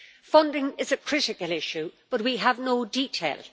Funding is a critical issue but we have no details.